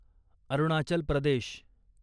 Arunachal Pradesh